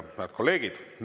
Head kolleegid!